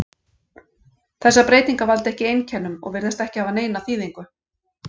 Þessar breytingar valda ekki einkennum og virðast ekki hafa neina þýðingu.